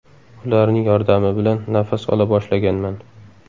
Ularning yordami bilan nafas ola boshlaganman.